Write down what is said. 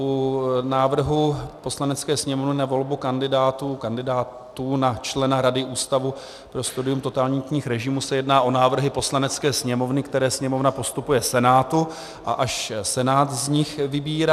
U návrhu Poslanecké sněmovny na volbu kandidátů na člena Rady Ústavu pro studium totalitních režimů se jedná o návrhy Poslanecké sněmovny, které Sněmovna postupuje Senátu, a až Senát z nich vybírá.